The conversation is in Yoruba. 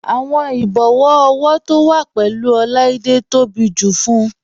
Awọn ìbòwọ ọwọ to wa pẹ̀lú Oláídé tó bí tó bá jù fún ọ.